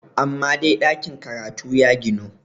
amma dai ɗakin karatu ya ginu!